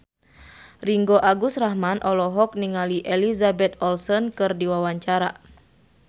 Ringgo Agus Rahman olohok ningali Elizabeth Olsen keur diwawancara